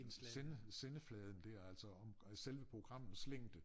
Sende sendefladen der altså om selve programmets længde